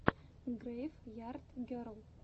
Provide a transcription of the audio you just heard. грэйв ярд герл